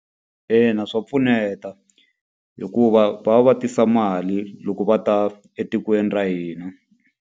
Ina swa pfuneta hikuva va va va tisa mali loko va ta etikweni ra hina.